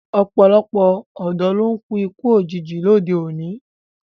Ọ̀pọ̀lọpọ̀ ọ̀dọ́ ló ń kú ikú òjijì lóde òní